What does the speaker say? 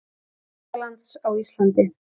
Þýskalands á Íslandi.